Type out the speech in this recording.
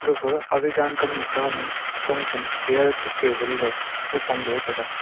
gapha aga yan kamnu khama chongchen chair che table lo gaphong loe taiga.